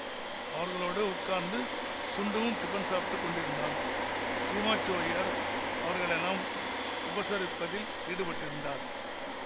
அவர்களோடு உட்கார்ந்து சுண்டுவும் டிபன் சாப்டுக் கொண்டிருந்தான் சீமாச்சுவய்யர் அவர்களையெல்லாம் உபசரிப்பதில் ஈடுபட்டிருந்தார்